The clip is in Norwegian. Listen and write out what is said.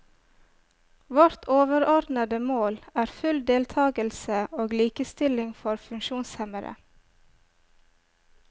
Vårt overordnede mål er full deltagelse og likestilling for funksjonshemmede.